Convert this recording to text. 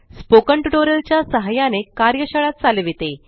spoken tutorial च्या सहाय्याने कार्यशाळा चालविते